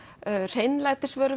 hreinlætisvörum